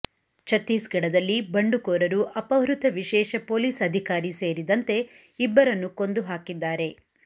ಛತ್ತೀಸ್ಗಡದಲ್ಲಿ ಬಂಡುಕೋರರು ಅಪಹೃತ ವಿಶೇಷ ಪೊಲೀಸ್ ಅಧಿಕಾರಿ ಸೇರಿದಂತೆ ಇಬ್ಬರನ್ನು ಕೊಂದು ಹಾಕಿದ್ದಾರೆ